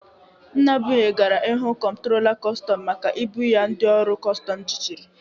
Nnabụihe gara ịhụ kọmptrola kostọm maka ibụ ya ndị ọrụ kọstọm jichiri